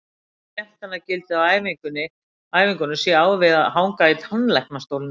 Sagt er að skemmtanagildið á æfingunum sé á við að hanga í tannlæknastólnum.